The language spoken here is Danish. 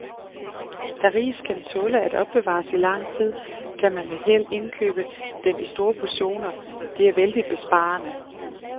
Da ris kan tåle at opbevares i lang tid, kan man med held indkøbe den i store portioner, det er vældigt besparende.